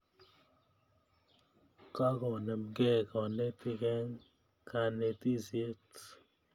Kokonemkei kanetik eng' kanetisyet